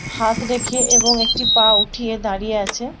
হাত রেখে এবং একটি পা উঠিয়ে দাঁড়িয়ে আছে ।